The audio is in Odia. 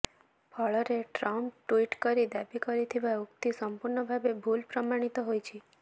ଫଳରେ ଟ୍ରମ୍ପ ଟ୍ୱିଟ କରି ଦାବି କରିଥିବା ଉକ୍ତି ସମ୍ପୂର୍ଣ୍ଣ ଭାବେ ଭୁଲ ପ୍ରମାଣିତ ହୋଇଛି